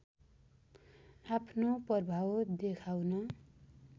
आफ्नो प्रभाव देखाउन